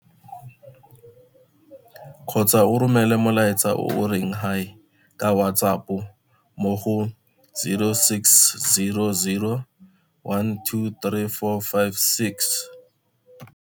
kgotsa o romele molaetsa o o reng Hi ka WhatsApp mo go0600 12 3456.